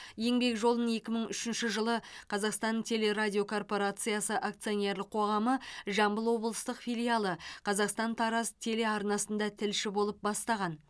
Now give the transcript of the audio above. еңбек жолын екі мың үшінші жылы қазақстан телерадиокорпорациясы акционерлік қоғамы жамбыл облыстық филиалы қазақстан тараз телеарнасында тілші болып бастаған